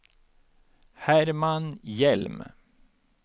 Herman Hjelm